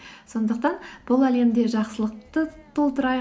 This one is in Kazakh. сондықтан бұл әлемде жақсылықты толтырайық